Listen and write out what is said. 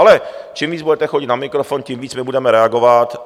Ale čím víc budete chodit na mikrofon, tím víc my budeme reagovat.